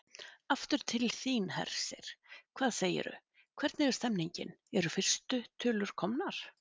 Aftur til þín, Hersir, hvað segirðu, hvernig er stemningin, eru fyrstu tölur komnar?